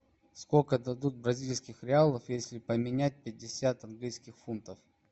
сколько дадут бразильских реалов если поменять пятьдесят английских фунтов